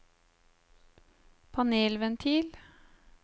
panelventil